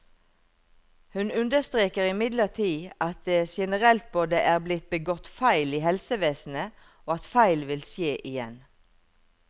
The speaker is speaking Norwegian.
Hun understreker imidlertid at det generelt både er blitt begått feil i helsevesenet, og at feil vil skje igjen.